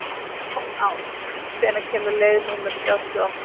Ás, hvenær kemur leið númer þrjátíu og átta?